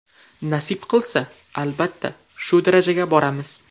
Nasib qilsa, albatta, shu darajaga boramiz”.